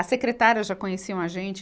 As secretárias já conheciam a gente.